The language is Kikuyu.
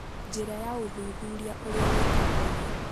Njĩra ya Ũthuthuria Ũrĩa Wĩkagwo Rĩu